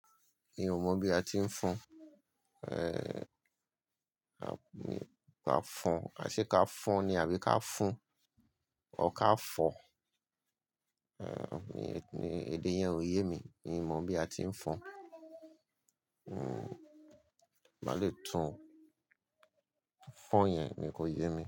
Mi ò mọ̀ bí a ti ń fọn, eh, a ka fọn, a ṣe ka fọn ni àbí ká fún ọ ká fọ̀? Eh, ni, ni èdè yẹn ò yé mi, mi ò mọ̀ bí a ti ń fọn. Hmm, màá le tún fọn yẹn ni kò yé mi.